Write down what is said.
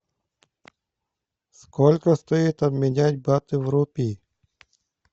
сколько стоит обменять баты в рупии